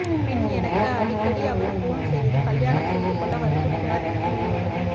பின் எனக்கு அடிக்கடி அவர் போன் செய்து கல்யாணம் செய்துகொள்ள வற்புறுத்தினார் என கூறியுள்ளார்